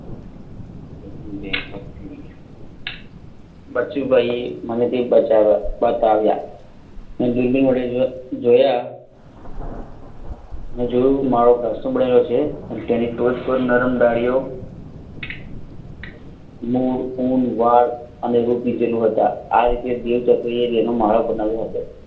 મોં ઉન વાળ અને રૂ પીંજેલા હતા આ રીતે બે ચકલીએ માળા બનાવ્યા હતા